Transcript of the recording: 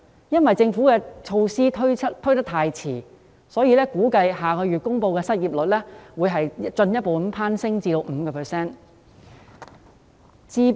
由於政府太遲推出措施，因此估計下月公布的失業率會進一步攀升至 5%。